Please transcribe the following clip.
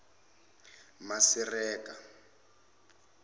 masireka